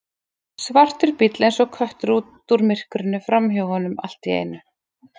Svartur bíll eins og köttur út úr myrkrinu framhjá honum allt í einu.